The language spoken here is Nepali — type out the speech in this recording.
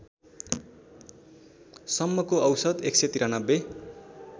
सम्मको औसत १९३